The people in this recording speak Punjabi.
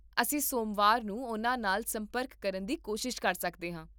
ਅਸੀਂ ਸੋਮਵਾਰ ਨੂੰ ਉਨ੍ਹਾਂ ਨਾਲ ਸੰਪਰਕ ਕਰਨ ਦੀ ਕੋਸ਼ਿਸ਼ ਕਰ ਸਕਦੇ ਹਾਂ